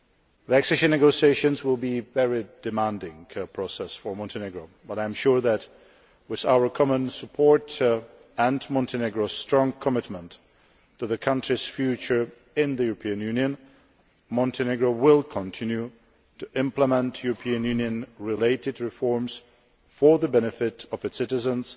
The accession negotiations will be a very demanding process for Montenegro, but I am sure that, with our common support and Montenegro's strong commitment to the country's future in the European Union, Montenegro will continue to implement European Union related reforms for the benefit of its citizens